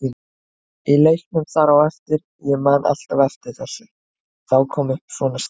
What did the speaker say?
Í leiknum þar á eftir, ég man alltaf eftir þessu, þá kom upp svona staða.